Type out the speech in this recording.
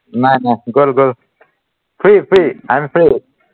নাই নাই গল গল free, free, I am free